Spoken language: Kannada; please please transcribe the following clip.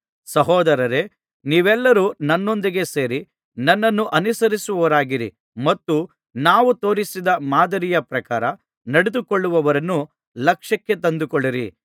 ಸಹೋದರರೇ ನೀವೆಲ್ಲರು ನನ್ನೊಂದಿಗೆ ಸೇರಿ ನನ್ನನ್ನು ಅನುಸರಿಸುವವರಾಗಿರಿ ಮತ್ತು ನಾವು ತೋರಿಸಿದ ಮಾದರಿಯ ಪ್ರಕಾರ ನಡೆದುಕೊಳ್ಳುವವರನ್ನು ಲಕ್ಷ್ಯಕ್ಕೆ ತಂದುಕೊಳ್ಳಿರಿ